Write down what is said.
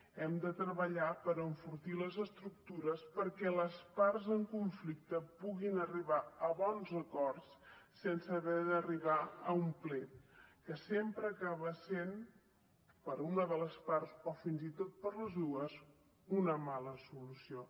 hem de treballar per enfortir les estructures perquè les parts en conflicte puguin arribar a bons acords sense haver d’arribar a un plet que sempre acaba sent per a una de les parts o fins i tot per a les dues una mala solució